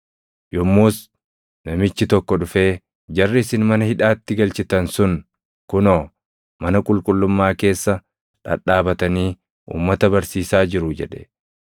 Yommus namichi tokko dhufee, “Jarri isin mana hidhaatti galchitan sun kunoo, mana qulqullummaa keessa dhadhaabatanii uummata barsiisaa jiru!” jedhe.